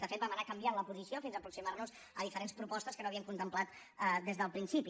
de fet vam anar canviant la posició fins a aproximarnos a diferents propostes que no havíem contemplat des del principi